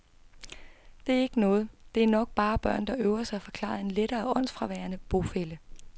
Det er ikke noget, det er nok bare børn, der øver sig, forklarede en lettere åndsfraværende bofælle.